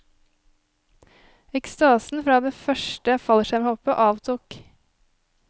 Ekstasen fra det første fallskjermhoppet avtok.